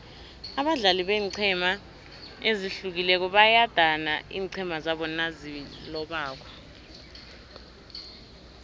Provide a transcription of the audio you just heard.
abadlali beenqhema ezihlukileko bayadana iinqhema zabo nazilobako